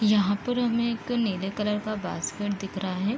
यहाँ पर हमें एक नील कलर का बास्केट दिख रहा है।